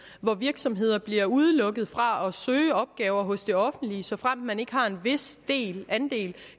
hvor virksomhederne bliver udelukket fra at søge opgaver hos det offentlige såfremt man ikke har en vis andel